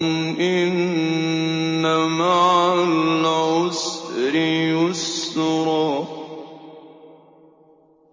إِنَّ مَعَ الْعُسْرِ يُسْرًا